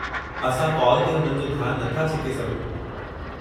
असां काल ते हुननि जो ध्यान नथा छिके सघूं।